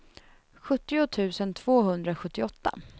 sjuttio tusen tvåhundrasjuttioåtta